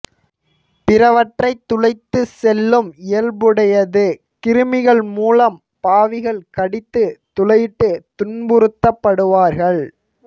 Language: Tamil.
பிறவற்றைத் துளைத்துச் செல்லும் இயல்புடையது கிருமிகள் மூலம் பாவிகள் கடித்துத் துளையிட்டு துன்புறுத்தப்படுவார்கள்